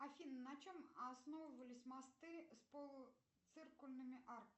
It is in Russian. афина на чем основывались мосты с полуциркульными арками